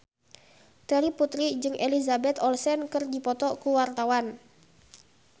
Terry Putri jeung Elizabeth Olsen keur dipoto ku wartawan